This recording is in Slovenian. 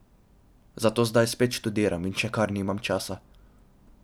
Zato zdaj spet študiram in še kar nimam časa.